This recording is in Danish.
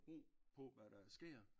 Ro på hvad der sker